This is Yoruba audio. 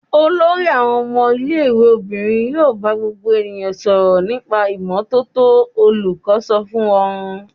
"Olórí àwọn ọmọ ilé-ìwé obìnrin yóò bá gbogbo ènìyàn sọ̀rọ̀ nípa ìmọ́tótó!" Olùkọ́ sọ fún wọn.